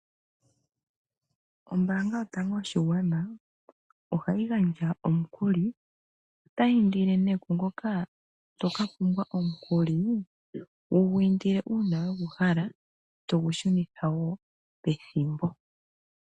Ombanga yotango yopashingwana ohayi gandja omukuli. Otayi indele nee kwaa ngoka to ka pumbwa omukuli wu gu indile uuna we gu hala, to gushunitha pethimbo.